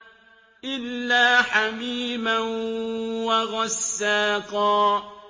إِلَّا حَمِيمًا وَغَسَّاقًا